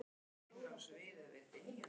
Þér hefur aldrei dottið það í hug Ásdís, ekki.